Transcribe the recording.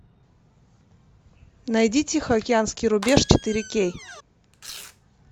найди тихоокеанский рубеж четыре кей